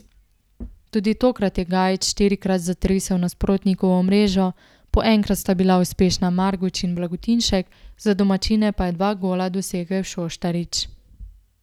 Tudi tokrat je Gajić štirikrat zatresel nasprotnikovo mrežo, po enkrat sta bila uspešna Marguč in Blagotinšek, za domačine pa je dva gola dosegel Šoštarič.